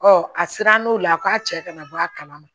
Ɔ a sera n'o la k'a cɛ kana bɔ a kalama